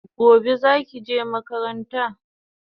Gobe zaki je makaranta